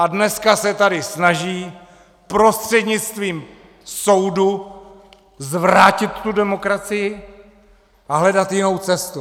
A dneska se tady snaží prostřednictvím soudu zvrátit tu demokracii a hledat jinou cestu.